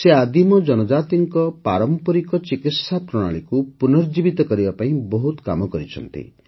ସେ ଆଦିମ ଜନଜାତିଙ୍କ ପାରମ୍ପରିକ ଚିକିତ୍ସା ପ୍ରଣାଳୀକୁ ପୁନର୍ଜୀବିତ କରିବା ପାଇଁ ବହୁତ କାମ କରିଛନ୍ତି